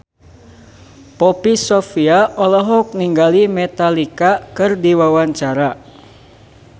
Poppy Sovia olohok ningali Metallica keur diwawancara